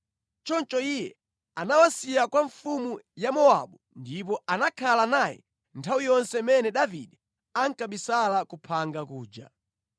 Choncho iye anawasiya kwa mfumu ya Mowabu ndipo anakhala naye nthawi yonse imene Davide ankabisala ku phanga kuja.